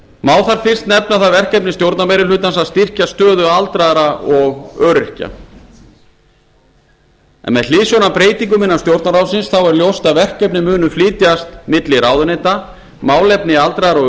má þar fyrst nefna það verkefni stjórnarmeirihlutans að styrkja stöðu aldraðra og öryrkja með hliðsjón af breytingum innan stjórnarráðsins er ljóst að verkefni munu flytjast milli ráðuneyta málefni aldraðra og